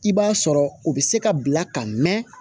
I b'a sɔrɔ o bɛ se ka bila ka mɛn